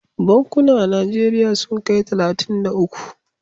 Bankuna a najeriya sun kai talatin da uku